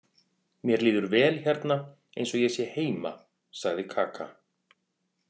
Mér líður vel hérna eins og ég sé heima, sagði Kaka.